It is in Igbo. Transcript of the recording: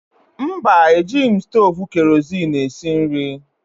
Mba, ejighị m stovu kerozin esi nri.